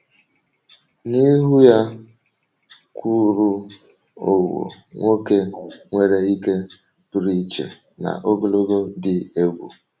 N’ihu ya kwụụrụ Owoh, nwoke nwere ike pụrụ iche na ogologo dị egwu.